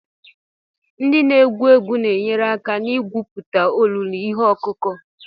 Ndị na-egwu egwu na-enyere aka na-egwupụta olulu ihe ọkụkụ.